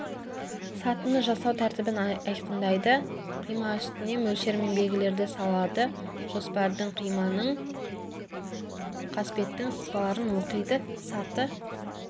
сатыны жасау тәртібін айқындайды қима үстіне мөлшер мен белгілерді салады жоспардың қиманың қасбеттің сызбаларын оқиды саты